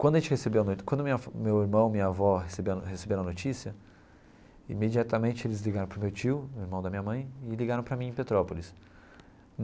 Quando a gente recebeu a no quando minha meu irmão e minha avó receberam a receberam a notícia, imediatamente eles ligaram para o meu tio, irmão da minha mãe, e ligaram para mim em Petrópolis.